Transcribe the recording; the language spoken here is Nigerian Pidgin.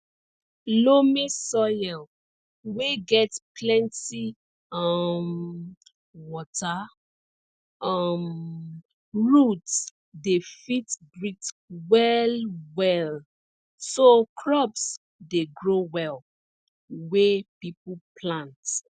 loamy soil wey get plenti um water um roots dey fit breathe well well so crops dey grow well wey people plant